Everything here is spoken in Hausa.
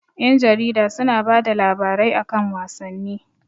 Ƴan jarida su na bada labarai a kan wasanni